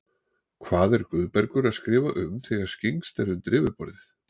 Hvað er Guðbergur að skrifa um þegar skyggnst er undir yfirborðið?